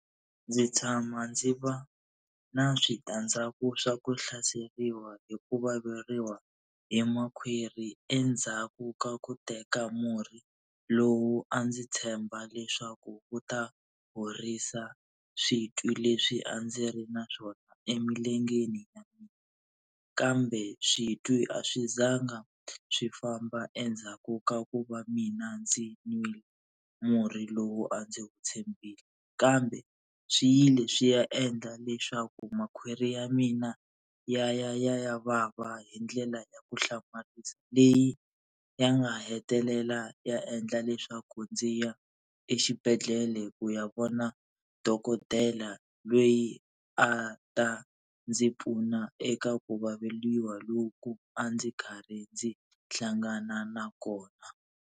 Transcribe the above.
Ndzi tshama ndzi va na switandzhaku swa ku hlaseriwa hi ku vaveriwa hi makhwiri endzhaku ka ku teka murhi lowu a ndzi tshemba leswaku wu ta horisa switwi leswi a ndzi ri na swona emilengeni ya mina. Kambe switwi a swi zanga swi famba endzhaku ka ku va mina ndzi nwile murhi lowu a ndzi wu tshembile, kambe swi yile swi ya endla leswaku makhwiri ya mina ya ya ya ya vava hi ndlela ya ku hlamarisa. Leyi ya nga hetelela ya endla leswaku ndzi ya exibedhlele ku ya vona dokodela loyi a ta ndzi pfuna eka ku vaveriwa loku a ndzi karhi ndzi hlangana na kona.